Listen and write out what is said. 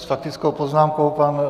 S faktickou poznámkou pan...